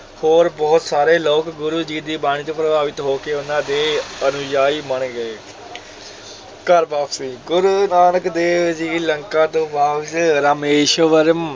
ਹੋਰ ਬਹੁਤ ਸਾਰੇ ਲੋਕ ਗੁਰੂ ਜੀ ਦੀ ਬਾਣੀ ਤੋਂ ਪ੍ਰਭਾਵਿਤ ਹੋ ਕੇ ਉਹਨਾਂ ਦੇ ਅਨੁਯਾਈ ਬਣ ਗਏ ਘਰ ਵਾਪਸੀ, ਗੁਰੂ ਨਾਨਕ ਦੇਵ ਜੀ ਲੰਕਾ ਤੋਂ ਬਾਅਦ ਰਾਮੇਸ਼ਵਰਮ,